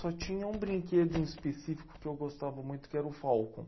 Só tinha um brinquedo em específico que eu gostava muito, que era o Falcon.